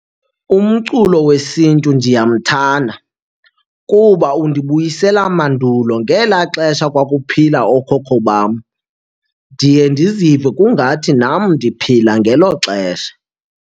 Umculo wesiNtu ndiyamthanda kuba undibuyisela mandulo ngelaa xesha kwakuphila ookhokho bam. Ndiye ndizive kungathi nam ndiphila ngelo xesha.